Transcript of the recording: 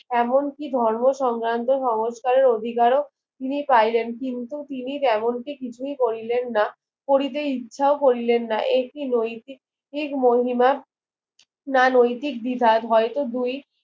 এমন কি ঘর্ম সংগ্রন্থে সমস্কারের অধিকারক তিনি পাইলেন কিছু তিনি যেমনটি কিছুই করিলেন না করিতে ইচ্ছাও করিলেন না একি নৈতিক মহিমার না নৈতিক বিবাধ হয়তো